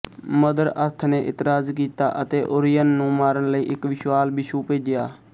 mother earth ਨੇ ਇਤਰਾਜ਼ ਕੀਤਾ ਅਤੇ ਓਰਿਯਨ ਨੂੰ ਮਾਰਨ ਲਈ ਇੱਕ ਵਿਸ਼ਾਲ ਬਿਛੂ ਭੇਜਿਆ